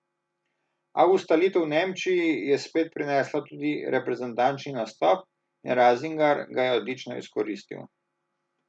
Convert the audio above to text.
A ustalitev v Nemčiji je spet prinesla tudi reprezentančni nastop in Razingar ga je odlično izkoristil.